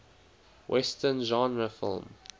western genre film